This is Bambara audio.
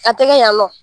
A tɛ kɛ yan nɔ